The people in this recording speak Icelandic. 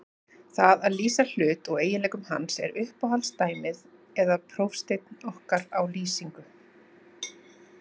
Það að lýsa hlut og eiginleikum hans er uppáhalds dæmið eða prófsteinn okkar á lýsingu.